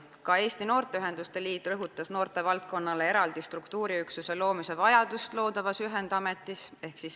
Ka Eesti Noorteühenduste Liit rõhutas vajadust luua loodavas ühendametis noortevaldkonnale eraldi struktuuriüksus.